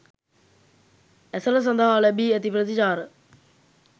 ඇසළ සඳහා ලැබී ඇති ප්‍රතිචාර